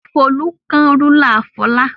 Folú kán rúlà Fọlá.